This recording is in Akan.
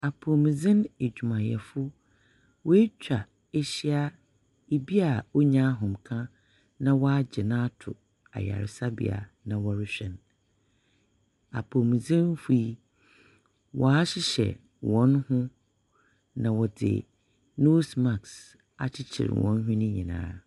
Apomudzen adwumayɛfo. Woetwa ehyia. Ibi a onni ahomeka na wɔagye no ato ayaresabea na wɔrehwɛ no. apomudzenfoɔ yi, wɔahyehyɛ hɔn ho, na wɔdze nose mask akyekyer hɔn hwene nyinaa.